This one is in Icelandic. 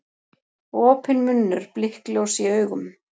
Opinn munnur, blikkljós í augum.